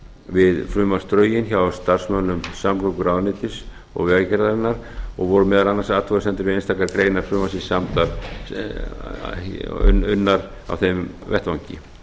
við frumvarpsdrögin hjá starfsmönnum samgönguráðuneytis og vegagerðarinnar og voru meðal annars athugasemdir við einstaka greinar frumvarpsins unnar á þeim vettvangi